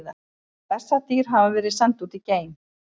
Bessadýr hafa verið send út í geim!